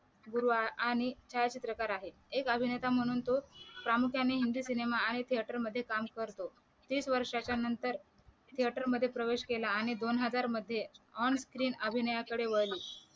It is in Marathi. दुर्वा आणी छाया चित्रकार आहेत एक अभिनेता म्हणून तो प्रामुख्याने हिंदी सिनेमा आणि थिएटर मध्ये काम करतो तीस वर्षाच्या नंतर थिएटर मधे प्रवेश केला आणि दोनहजार मध्ये ऑन स्क्रीन अभिनेयाकडे वळली